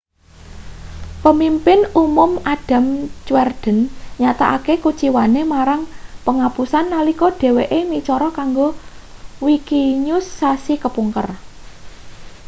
pemimpin umum adam cuerden nyatakake kuciwane marang penghapusan nalika dheweke micara kanggo wikinews sasi kepungkur